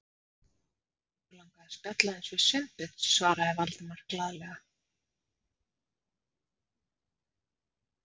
Okkur langaði að spjalla aðeins við Sveinbjörn- svaraði Valdimar glaðlega.